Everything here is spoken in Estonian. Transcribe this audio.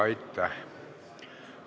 Aitäh!